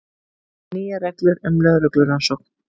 Nýjar reglur um lögreglurannsókn